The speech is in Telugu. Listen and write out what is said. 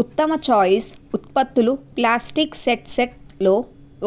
ఉత్తమ ఛాయిస్ ఉత్పత్తులు ప్లాస్టిక్ సెట్ సెట్ లో